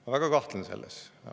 Ma väga kahtlen selles.